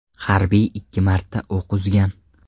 Harbiy ikki marta o‘q uzgan.